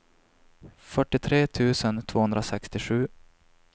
fyrtiotre tusen tvåhundrasextiosju